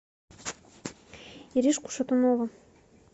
иришку шатунову